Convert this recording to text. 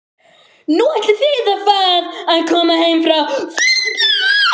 Nú, ætlið þið að koma heim fljótlega?